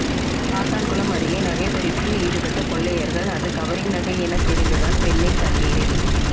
சாத்தான்குளம் அருகே நகை பறிப்பில் ஈடுபட்ட கொள்ளையர்கள் அது கவரிங் நகை என தெரிந்ததால் பெண்ணை தண்ணீரில்